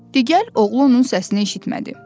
Digər oğlu onun səsini eşitmədi.